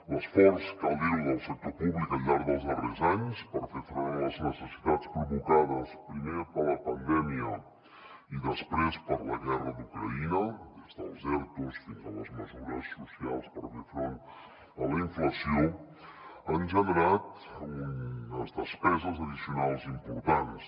l’esforç cal dirho del sector públic al llarg dels darrers anys per fer front a les necessitats provocades primer per la pandèmia i després per la guerra d’ucraïna des dels ertos fins a les mesures socials per fer front a la inflació ha generat unes despeses addicionals importants